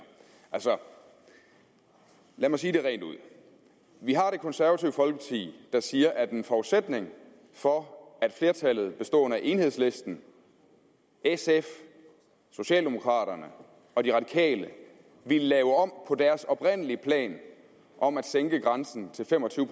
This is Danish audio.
altså lad mig sige det rent ud vi har det konservative folkeparti der siger at en forudsætning for at flertallet bestående af enhedslisten sf socialdemokraterne og de radikale ville lave om på deres oprindelige plan om at sænke grænsen til fem og tyve